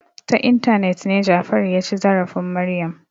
Ta intanet ne Jafaru ya ci zarafin Maryam.